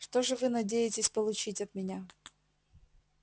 что же вы надеетесь получить от меня